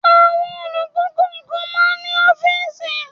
Àwọn olùkọ́ kọ̀ọ̀kan máa ń ní ọ́fíísì.